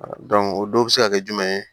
o don bɛ se ka kɛ jumɛn ye